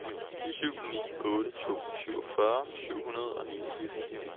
syv ni otte to syvogfyrre syv hundrede og niogtres